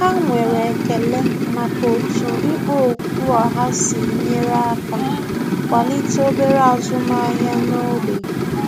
Há nwere ekele màkà otú ikpo okwu ọha sí nyere aka kwalite obere ázụ́màhị́à n’ógbè.